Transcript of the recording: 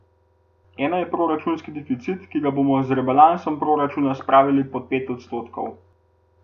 Ena je proračunski deficit, ki ga bomo z rebalansom proračuna spravili pod pet odstotkov.